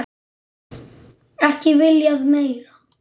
Ekki viljað meira.